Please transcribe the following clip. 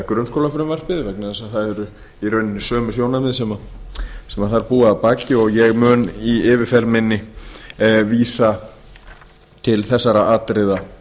grunnskólafrumvarpið vegna þess að það eru í rauninni sömu sjónarmið sem þar búa að baki og ég mun í yfirferð minni vísa til þessara atriða